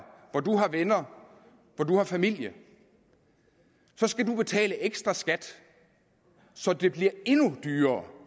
hvor de har venner hvor de har familie skal de betale ekstraskat så det bliver endnu dyrere